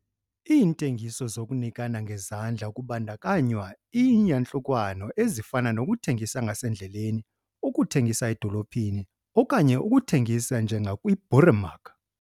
Iintengiso zokunikana ngezandla kubandakanywa iiyantlukwano ezifana nokuthengisa ngasendleleni, ukuthengisa edolophini okanye ukuthengisa 'njengakwi-boeremark'.